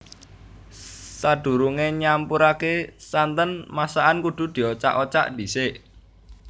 Sadurungé nyampuraké santen masakan kudu diocak ocak dhisik